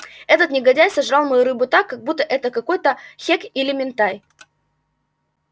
этот негодяй сожрал мою рыбу так как будто это какой-то хек или минтай